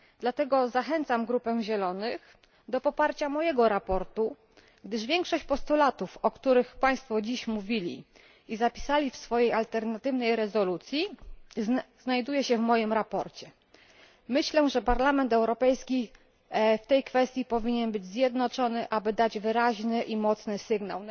Dlatego zachęcam grupę Zielonych do poparcia mojego sprawozdania, gdyż większość postulatów, o których Państwo dziś mówili i które zapisali w swojej alternatywnej rezolucji, znajduje się w moim sprawozdaniu. Myślę, że Parlament Europejski w tej kwestii powinien być zjednoczony, aby dać wyraźny i mocny sygnał.